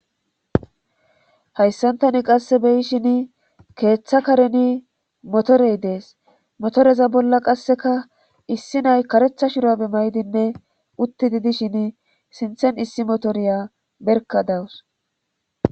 hayssan tani qasse beyishin keeththa kareni motorey dees motoreza bolla qasseka issi nay karetha shurabe maydinne uttidi dishin sinthen issi motoriya berka dawus